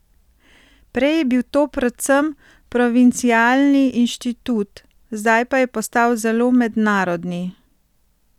Prej je bil to predvsem provincialni inštitut, zdaj pa je postal zelo mednarodni.